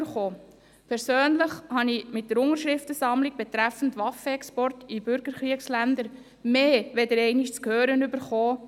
Im Zusammenhang mit der Unterschriftensammlung betreffend die Waffenexporte in Bürgerkriegsländer erhielt ich persönlich mehr als einmal zu hören: